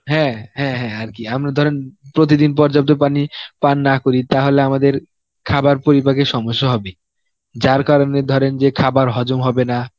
হ্যাঁ হ্যাঁ হ্যাঁ আরকি আমরা ধরেন প্রতিদিন পর্যাপ্ত পানি পান না করি তাহলে আমাদের খাবার পরিপাকের সমস্যা হবে, যার কারণে ধরেন যে খাবার হজম হবে না.